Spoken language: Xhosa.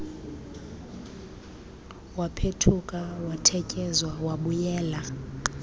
waphethuka watetyeza wabuyela